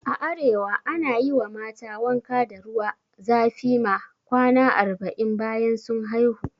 A arewa ana yi wa mata wanka da ruwa zafi ma kwana arba'in bayan sun haihu